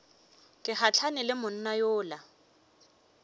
ke gahlane le monna yola